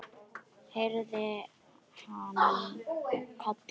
heyrði hann kallað.